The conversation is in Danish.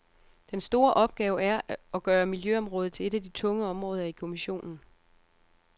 Den store opgave er at gøre miljøområdet til et af de tunge områder i kommissionen.